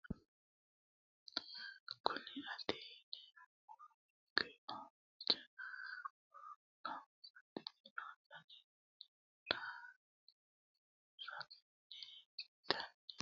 Kuni mati yinumoha ikiro hanja muroni babaxino daninina ragini intani sagale woyi sagali comishatenna bifisate horonsine'morich ikinota bunxana qoleno lame yaate